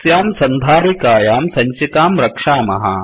अस्यां सन्धारिकायां सञ्चिकां रक्षामः